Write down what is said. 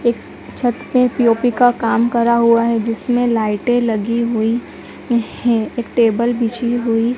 एक छत पे पी_ओ_पी का काम करा हुआ है जिसमें लाइटें लगी हुई हैं एक टेबल बिछी हुई--